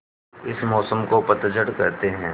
इस मौसम को पतझड़ कहते हैं